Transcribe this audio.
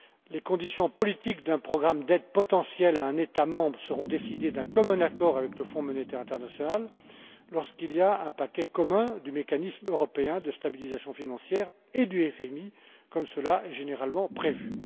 Les conditions politiques d'un programme d'aide potentiel à un État membre seront décidées d'un commun accord avec le Fonds monétaire international lorsqu'il y a un paquet commun du mécanisme européen de stabilisation financière et du FMI, comme cela est généralement prévu.